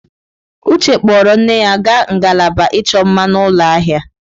Uche kpọọrọ nne ya gaa ngalaba ịchọ mma n'ụlọ ahịa.